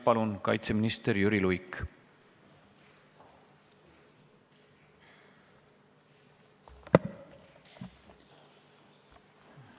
Palun, kaitseminister Jüri Luik!